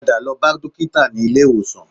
Padà lọ bá dókítà nílé ìwòsàn